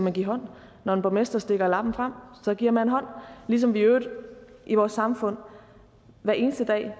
man give hånd når en borgmester stikker lappen frem så giver man hånd ligesom vi i øvrigt i vores samfund hver eneste dag